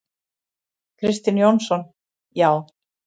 Kristinn Jónsson: Já.